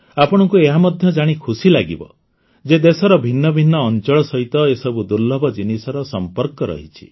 ଆପଣଙ୍କୁ ଏହା ମଧ୍ୟ ଜାଣି ଖୁସି ଲାଗିବ ଯେ ଦେଶର ଭିନ୍ନ ଭିନ୍ନ ଅଞ୍ଚଳ ସହିତ ଏସବୁ ଦୁର୍ଲଭ ଜିନିଷର ସମ୍ପର୍କ ରହିଛି